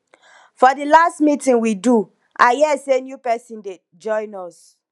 for the last meeting we do i hear say new person dey join us